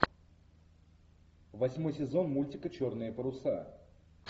восьмой сезон мультика черные паруса